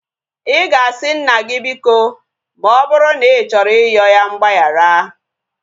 Ị ga-asị nna gị biko ma ọ bụrụ na ị chọrọ iyoo ya mgbagharaịga